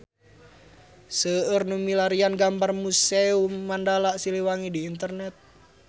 Seueur nu milarian gambar Museum Mandala Siliwangi di internet